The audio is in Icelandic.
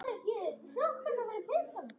Hún gengur fremst.